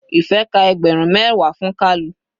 Ife ka ẹgbẹrun mẹwa fún kalu.